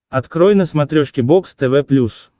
открой на смотрешке бокс тв плюс